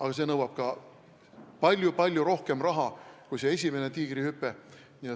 Aga see nõuab palju-palju rohkem raha kui esimene Tiigrihüpe.